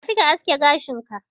Tafi ka aske gashin ka